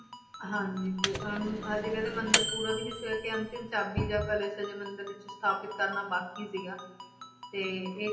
ਹਾਂਜੀ ਤੇ ਅਮ ਹਜੇ ਕਹਿੰਦੇ ਮੰਦਿਰ ਪੂਰਾ ਵੀ ਨੀ ਸੀ ਹੋਇਆ ਕਿ ਅੰਤਿਮ ਚਾਬੀ ਜਾਂ ਕਲਸ਼ ਹਜੇ ਮੰਦਿਰ ਵਿੱਚ ਸਥਾਪਿਤ ਕਰਨਾ ਬਾਕੀ ਸੀਗਾ, ਤੇ ਇਹ